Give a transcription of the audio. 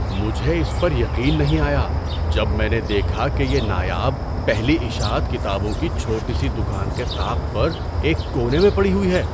مجھے اس پر یقین نہیں آیا جب میں نے دیکھا کہ یہ نایاب پہلی اشاعت کتابوں کی چھوٹی سی دکان کے طاق پر ایک کونے میں پڑی ہوئی ہے۔